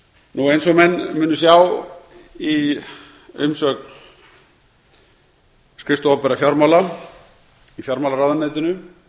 eins og menn munu sjá í umsögn skrifstofu opinberra fjármála í fjármálaráðuneytinu